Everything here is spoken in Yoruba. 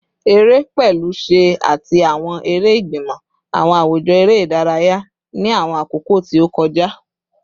Ere, pẹlu ṣẹ ati awọn ere igbimọ, awọn awujọ ere idaraya ni awọn akoko ti o kọja